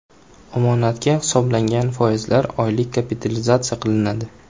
Omonatga hisoblangan foizlar oylik kapitalizatsiya qilinadi.